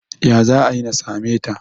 ya za a yi na same ta?